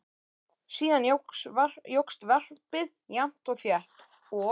Síðan jókst varpið jafnt og þétt og